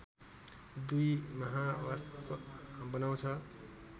२ महावाष्प बनाउँछ